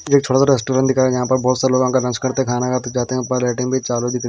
ये एक थोडासा रेस्टोरेंट दिखाया यहाँ पर बहुत सारे लोगों का अनाज करते हैं खाना खाते जाते हैं पर रेटिंग भीं चालू दिख रहीं--